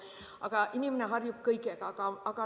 Aga inimene harjub kõigega.